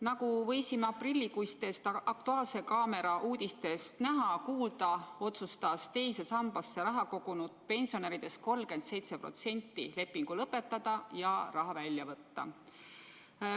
Nagu võisime aprillikuistest "Aktuaalse kaamera" uudistest näha-kuulda, otsustas II sambasse raha kogunud pensionäridest 37% lepingu lõpetada ja raha välja võtta.